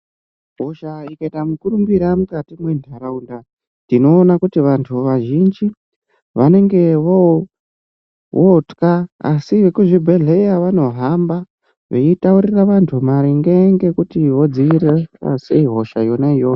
Hosha ikaita mukurumbira mukati mwendaraunda ndinoona kuti vanhu vazhinji vanenge votya asi vekuzvibhedhkeya vanohamba veyitaurura vandu maringe ngokuti vodziirira sei hosha yona iyoyo.